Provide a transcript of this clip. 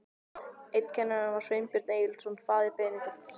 Einn kennara var Sveinbjörn Egilsson, faðir Benedikts.